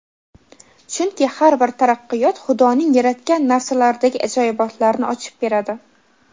chunki har bir taraqqiyot xudoning yaratgan narsalaridagi ajoyibotlarni ochib beradi.